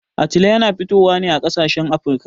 Atile yana fitowa ne a ƙasashen Afirka.